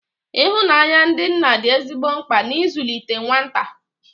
Ihụnanya ndị nna dị ezigbo mkpa na nzụlite nwata